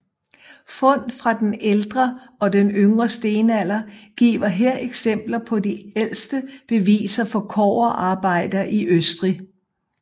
Fund fra den ældre og den yngre stenalder giver her eksempler på de ældste beviser for kobberarbejder i Østrig